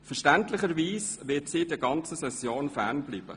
Verständlicherweise wird sie der ganzen Session fern bleiben.